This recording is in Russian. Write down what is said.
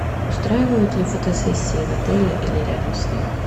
устраивают ли фотосессии в отеле или рядом с ним